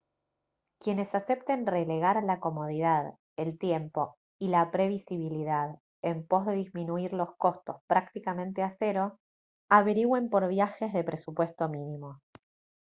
quienes acepten relegar la comodidad el tiempo y la previsibilidad en pos de disminuir los costos prácticamente a cero averigüen por viajes de presupuesto mínimo